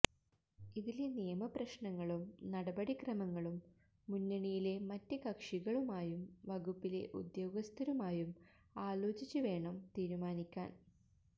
ഇതിലെ നിയമപ്രശ്നങ്ങളും നടപടിക്രമങ്ങളും മുന്നണിയിലെ മറ്റ് കക്ഷികളുമായും വകുപ്പിലെ ഉദ്യോഗസ്ഥരുമായും ആലോചിച്ച് വേണം തീരുമാനിക്കാന്